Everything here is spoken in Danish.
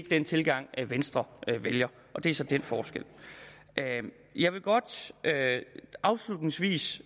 den tilgang venstre vælger og det er så den forskel jeg vil godt afslutningsvis